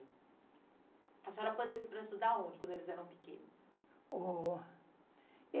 A senhora pôs eles para estudar a onde quando eles eram pequenos?